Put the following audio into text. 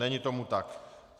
Není tomu tak.